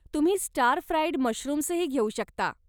तुम्ही stir fried मशरूम्सही घेऊ शकता.